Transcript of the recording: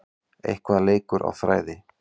Eitthvað leikur á þræði